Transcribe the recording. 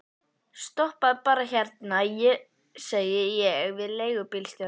Stoppaðu bara hérna, segi ég við leigubílstjórann.